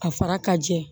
A fara ka jɛ